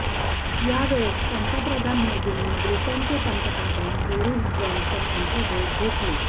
यावेळेस पंतप्रधान मोदींनी ब्रिटनचे पंतप्रधान बोरिस जॉन्सन यांची भेट घेतली